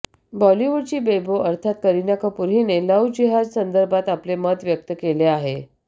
बॉलिवूडची बेबो अर्थात करीना कपूर हिने लव्ह जिहाद संदर्भात आपले मत व्यक्त केले आहे